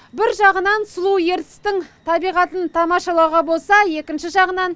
бір жағынан сұлу ертістің табиғатын тамашалауға болса екінші жағынан